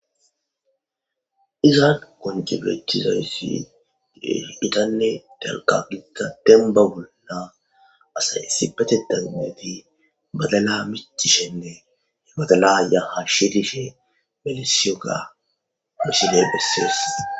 Izan qonc'i betizaysi gitane dalga gidiza demba bola asay issipetetan gididi badala mic'ishene badala ya ha shirishe erisiyoga ha missiley beses.